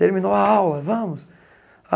Terminou a aula, vamos.